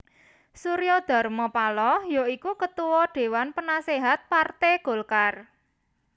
Surya Dharma Paloh ya iku Ketua Déwan Penaséhat Parté Golkar